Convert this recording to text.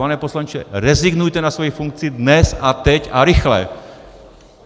Pane poslanče, rezignujte na svoji funkci dnes a teď a rychle!